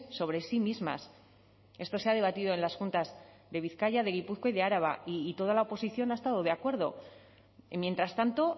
sobre sí mismas esto se ha debatido en las juntas de bizkaia de gipuzkoa y de araba y toda la oposición ha estado de acuerdo y mientras tanto